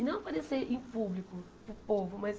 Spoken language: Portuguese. E não aparecer em público, para o povo, mas...